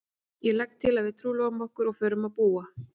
Ég legg til að við trúlofum okkur og förum að búa.